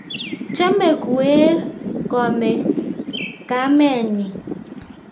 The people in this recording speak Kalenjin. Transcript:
chome kuee komek kamenyin